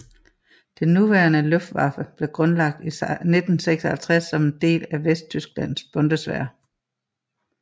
Det nuværende Luftwaffe blev grundlagt i 1956 som en del af Vesttysklands Bundeswehr